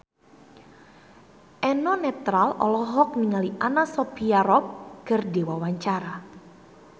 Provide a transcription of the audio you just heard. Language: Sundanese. Eno Netral olohok ningali Anna Sophia Robb keur diwawancara